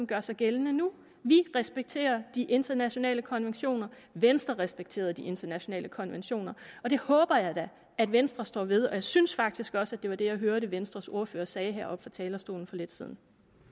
gør sig gældende nu vi respekterer de internationale konventioner venstre respekterede de internationale konventioner og det håber jeg da at venstre står ved og jeg synes faktisk også at det var det jeg hørte venstres ordfører sige heroppe fra talerstolen for lidt siden